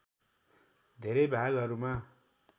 धेरै भागहरूमा